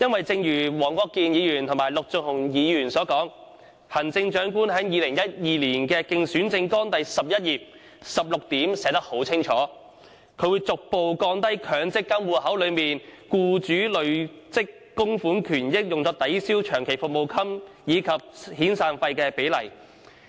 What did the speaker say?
正如黃國健議員和陸頌雄議員所說，行政長官在2012年的競選政綱第11頁第16點清楚列明，會"逐步降低強積金戶口內僱主累積供款權益用作抵銷僱員長期服務金及遣散費的比例"。